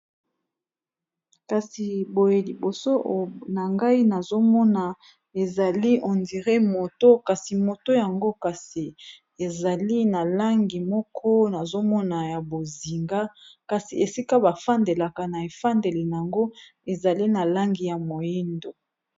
Kasi boye liboso na ngai nazomona ezali on dire moto, kasi moto yango kasi ezali na langi moko nazomona ya bozinga kasi esika bafandelaka na efandeli yango ezali na langi ya moyindo.